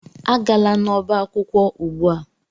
Agala n'ọba akwụkwọ ugbu a!